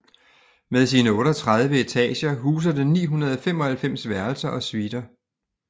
Med sine otteogtredive etager huser det 995 værelser og suiter